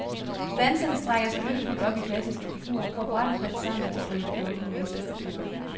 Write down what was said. Danserne strækker sig yndefuldt op i klassiske figurer, for brat at falde sammen til klumpedumpet menneskestatur.